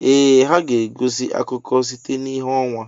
Ee ha e ga-egosi akụkọ site n'ìhè ọnwa.